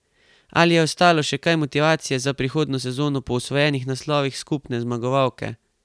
Ali je ostalo še kaj motivacije za prihodnjo sezono po osvojenih naslovih skupne zmagovalke?